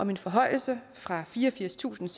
om en forhøjelse fra fireogfirstusinde